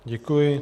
Děkuji.